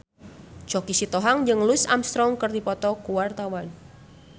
Choky Sitohang jeung Louis Armstrong keur dipoto ku wartawan